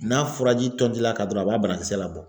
N'a furaji tɔnti l'a kan dɔrɔn a b'a banakisɛ labɔ.